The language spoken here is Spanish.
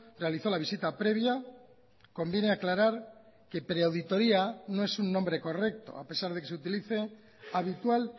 realizó la visita previa conviene aclarar que pre auditoria no es un nombre correcto a pesar de que se utilice habitual